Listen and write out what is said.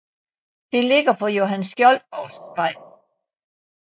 Det ligger på Johan Skjoldborgs Vej